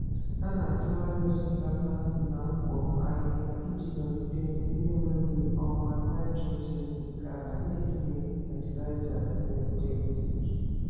Ha na-atụgharị osikapa na mkpo ahịhịa iji nọgide na-enwe ọkwa nitrogen nke ala na-etinyeghị fatịlaịza sịntetik.